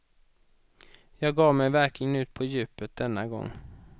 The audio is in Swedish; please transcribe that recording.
Jag gav mig verkligen ut på djupet denna gång.